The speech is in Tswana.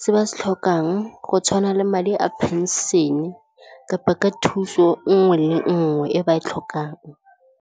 se ba se tlhokang go tshwana le madi a pension-e kapa ka thuso nngwe le nngwe e ba e tlhokang.